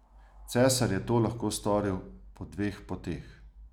Cesar je to lahko storil po dveh poteh.